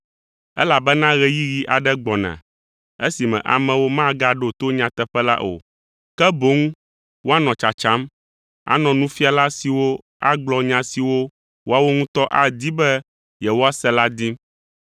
Elabena ɣeyiɣi aɖe gbɔna esime amewo magaɖo to nyateƒe la o, ke boŋ woanɔ tsatsam anɔ nufiala siwo agblɔ nya siwo woawo ŋutɔ adi be yewoase la dim.